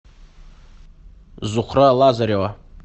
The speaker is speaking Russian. зухра лазарева